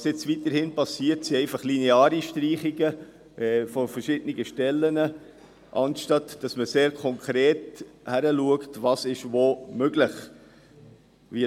Was jetzt gemacht wird, sind lineare Streichungen verschiedener Stellen, anstatt dass man genau hinschaut, was wo möglich ist.